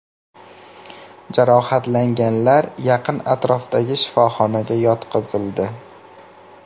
Jarohatlanganlar yaqin atrofdagi shifoxonaga yotqizildi.